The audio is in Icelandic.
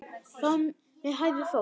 Fram með hægri fót.